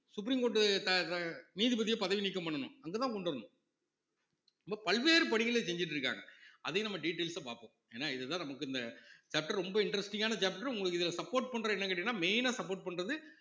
supreme court த~ த~ நீதிபதியை பதவி நீக்கம் பண்ணணும் அங்கதான் கொண்டு வரணும் அப்ப பல்வேறு பணிகளை செஞ்சுட்டு இருக்காங்க அதையும் நம்ம details அ பார்ப்போம் ஏன்னா இதுதான் நமக்கு இந்த chapter ரொம்ப interesting ஆன chapter உங்களுக்கு இதுல support பண்றது என்னன்னு கேட்டீங்கன்னா main ஆ support பண்றது